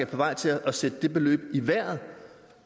vej til at sætte det beløb i vejret